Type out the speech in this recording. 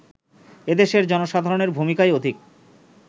এদেশের জনসাধারণের ভূমিকাই অধিক